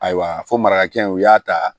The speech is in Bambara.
Ayiwa fɔ mara hakɛ in u y'a ta